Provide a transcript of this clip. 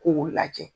K'o lajɛ